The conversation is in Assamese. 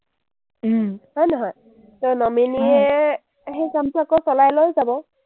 হয় নহয়, to nominee এ সেই কামটো আকৌ চলাই লৈ যাব।